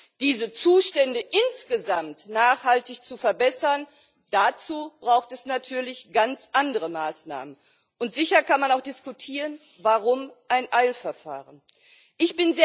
Um diese Zustände insgesamt nachhaltig zu verbessern, braucht es natürlich ganz andere Maßnahmen. Und sicher kann man auch diskutieren, warum ein Eilverfahren beschlossen wurde.